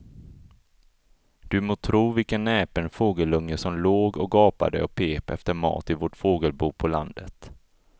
Du må tro vilken näpen fågelunge som låg och gapade och pep efter mat i vårt fågelbo på landet.